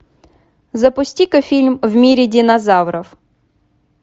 запусти ка фильм в мире динозавров